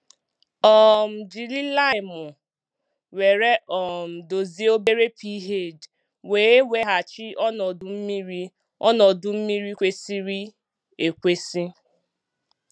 um Jiri laịmụ were um dozie obere pH wee weghachi ọnọdụ mmiri ọnọdụ mmiri kwesịrị ekwesị.